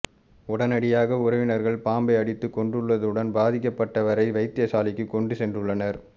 உடனடியாக உறவினர்கள் பாம்பை அடித்து கொன்றுள்ளதுடன் பாதிக்கப்பட்டவரை வைத்தியசாலைக்கு கொண்டு சென்றுள்ளனர்